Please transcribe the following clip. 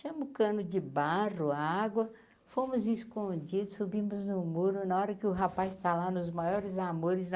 o cano de barro, a água, fomos escondidos, subimos no muro na hora que o rapaz tá lá nos maiores amores.